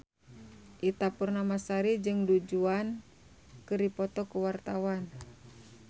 Ita Purnamasari jeung Du Juan keur dipoto ku wartawan